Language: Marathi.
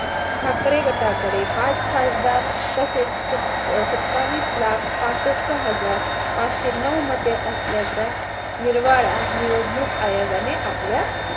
ठाकरे गटाकडे पाच खासदार तसेच सत्ता सत्तावीस लाख पासष्ट हजार पाचशे नऊ मते असल्याचा निर्वाळा निवडणूक आयोगाने आपल्या